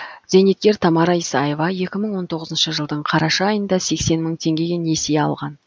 зейнеткер тамара исаева екі мың он тоғызыншы жылдың қараша айында сексен мың теңгеге несие алған